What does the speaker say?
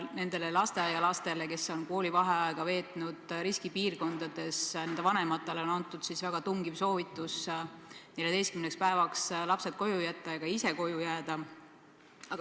Nendele lasteaialaste ja õpilaste vanematele, kes on koos lastega koolivaheaja veetnud riskipiirkonnas, on antud väga tungiv soovitus 14 päevaks lapsed koju jätta ja ka ise koju jääda.